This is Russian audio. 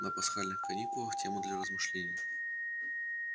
на пасхальных каникулах тему для размышлений